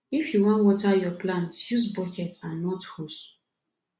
if you wan water yur plant use bucket and not hose